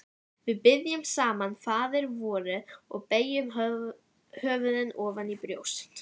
Við biðjum saman faðirvorið og beygjum höfuðin ofan í brjóst.